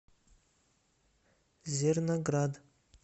зерноград